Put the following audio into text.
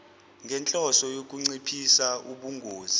ngenhloso yokunciphisa ubungozi